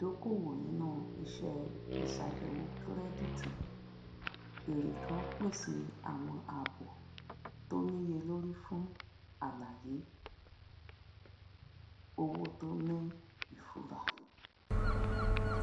ìdókoòwò nínú iṣẹ ìsabẹwò kìrẹdítì ere kan pèsè àwọn àbò tó níyelórí fún àlàyé um owó tó ní ìfura